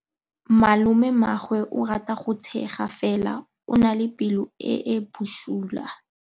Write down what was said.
Malomagwe o rata go tshega fela o na le pelo e e bosula.